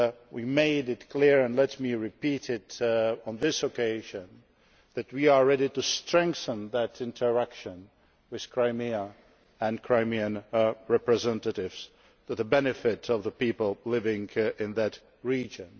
We made it clear and let me repeat this on this occasion that we are ready to strengthen that interaction with the Crimea and Crimean representatives for the benefit of the people living in that region.